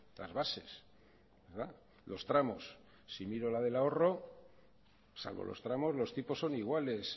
las bases los tramos si miro la del ahorro salvo los tramos los tipos son iguales